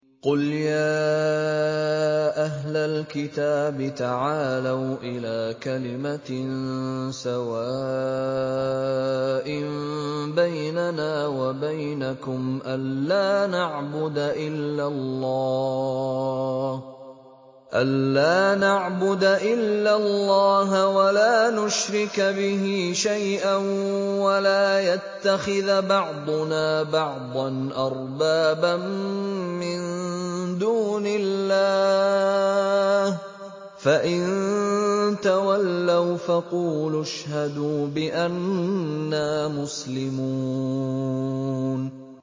قُلْ يَا أَهْلَ الْكِتَابِ تَعَالَوْا إِلَىٰ كَلِمَةٍ سَوَاءٍ بَيْنَنَا وَبَيْنَكُمْ أَلَّا نَعْبُدَ إِلَّا اللَّهَ وَلَا نُشْرِكَ بِهِ شَيْئًا وَلَا يَتَّخِذَ بَعْضُنَا بَعْضًا أَرْبَابًا مِّن دُونِ اللَّهِ ۚ فَإِن تَوَلَّوْا فَقُولُوا اشْهَدُوا بِأَنَّا مُسْلِمُونَ